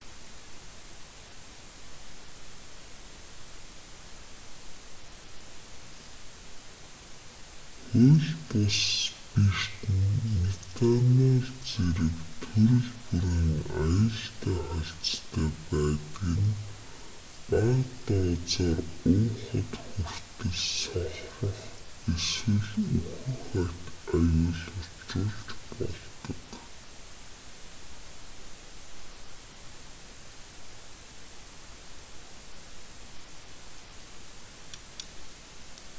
хууль бус спирт нь метанол зэрэг төрөл бүрийн аюултай хольцтой байдаг нь бага дозоор уухад хүртэл сохрох эсвэл үхэх аюул учруулж болдог